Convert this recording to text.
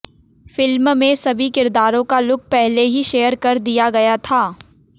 film में सभी किरदारों का लुक पहले ही शेयर कर दिया गया था